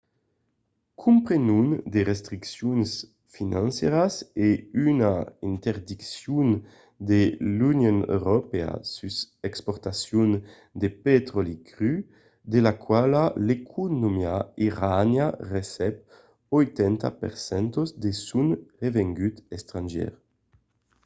comprenon de restriccions financièras e una interdiccion de l’union europèa sus l’exportacion de petròli cru de la quala l’economia iraniana recep 80% de son revengut estrangièr